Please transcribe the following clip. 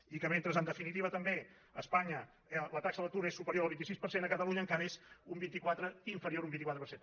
i que mentre en definitiva també a espanya la taxa de l’atur és superior al vint sis per cent a catalunya encara és inferior a un vint quatre per cent